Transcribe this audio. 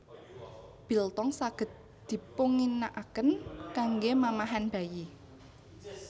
Biltong saged dipunginakaken kanggé mamahan bayi